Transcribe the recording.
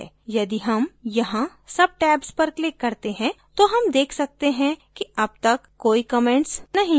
यदि हम यहाँ subtabs पर click करते हैं तो हम देख सकते हैं कि अब तक कोई comments नहीं है